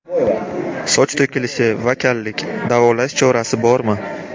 Soch to‘kilishi va kallik: davolash chorasi bormi?!.